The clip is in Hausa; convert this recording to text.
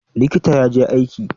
Likita ya je aiki.